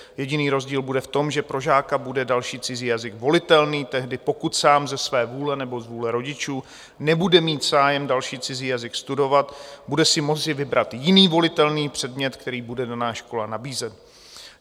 Jediný rozdíl bude v tom, že pro žáka bude další cizí jazyk volitelný tehdy, pokud sám ze své vůle nebo z vůle rodičů nebude mít zájem další cizí jazyk studovat, bude si moci vybrat jiný volitelný předmět, který bude daná škola nabízet.